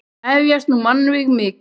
Hefjast nú mannvíg mikil.